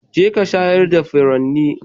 Jeka shayar da furanni.